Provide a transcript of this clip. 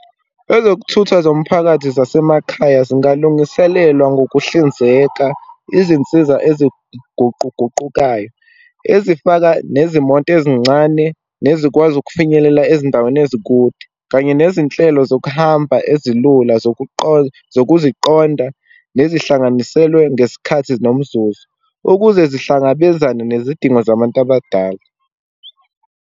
Ezokuthutha zomphakathi zasemakhaya zingalungiselelwa ngokuhlinzeka izinsiza eziguquguqukayo, ezifaka nezimoto ezincane, nezikwazi ukufinyelela ezindaweni ezikude, kanye nezinhlelo zokuhamba ezilula zokuziqonda nezihlanganiselwa ngesikhathi nomzuzu, ukuze zihlangabezana nezidingo zabantu abadala.